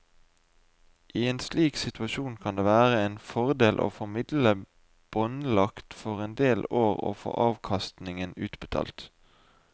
I en slik situasjon kan det være en fordel å få midlene båndlagt for en del år og kun få avkastningen utbetalt.